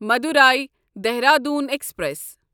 Madurai Dehradun express